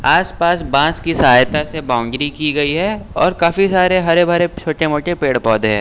आसपास बांस की सहायता से बाउंड्री की गई है और काफी सारे हरे भरे छोटे मोटे पेड़ पौधे हैं।